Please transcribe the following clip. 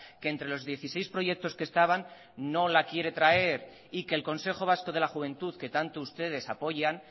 que entre los dieciséis proyectos que estaban no la quiere traer y que el consejo vasco de la juventud que tanto ustedes apoyan